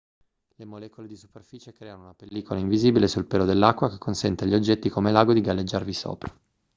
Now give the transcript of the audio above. le molecole di superficie creano una pellicola invisibile sul pelo dell'acqua che consente agli oggetti come l'ago di galleggiarvi sopra